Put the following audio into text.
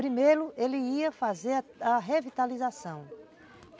Primeiro ele ia fazer a revitalização.